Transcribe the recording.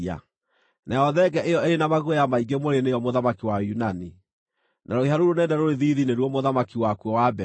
Nayo thenge ĩyo ĩrĩ na maguoya maingĩ mwĩrĩ nĩo mũthamaki wa Ũyunani, na rũhĩa rũu rũnene rũrĩ thiithi nĩruo mũthamaki wakuo wa mbere.